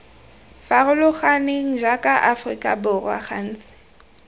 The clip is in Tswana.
farologaneng jaaka aforika borwa gantsi